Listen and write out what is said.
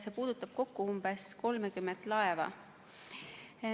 See puudutab kokku umbes 30 laeva.